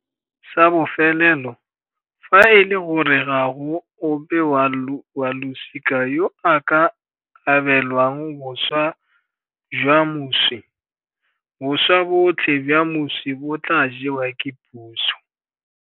Sa bofelelo, fa e le gore ga go ope wa losika yo a ka abelwang boswa jwa moswi, boswa botlhe jwa moswi bo tla jewa ke puso.